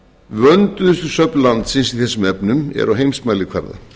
vönduðustu söfn landsins í þessum efnum eru á heimsmælikvarða